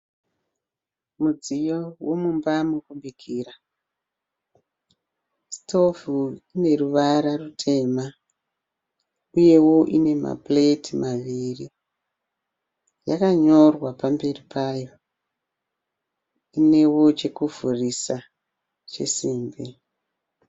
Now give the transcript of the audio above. Mudziyo womumba mokubikira sitovhu ineruvara rutema uyewo inemapureti maviri. Yakanyorwa pamberi payo. Inewo chokuvhurisa chesimbi.